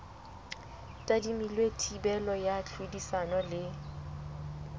tadimilwe thibelo ya tlhodisano le